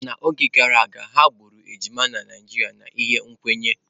N'oge gara aga, ha gburu ejima na Naijiria n'ihi nkwenye.